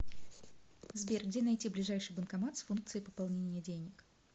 сбер где найти ближайший банкомат с функцией пополнения денег